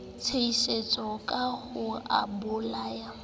tshositse ka ho o bolaya